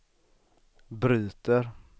bryter